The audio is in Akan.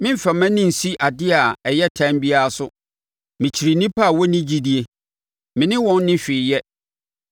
Meremfa mʼani nsi adeɛ a ɛyɛ tane biara so. Mekyiri nnipa a wɔnni gyidie; Me ne wɔn nni hwee yɛ.